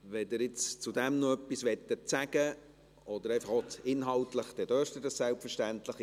Wenn Sie jetzt dazu noch etwas sagen möchten, oder einfach auch inhaltlich, dann dürfen Sie das selbstverständlich.